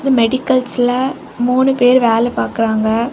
மெடிக்கல்ஸ்ல மூணு பேர் வேல பாக்குறாங்க.